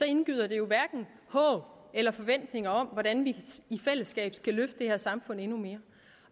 indgyder det jo hverken håb eller forventning om hvordan vi i fællesskab skal løfte det her samfund endnu mere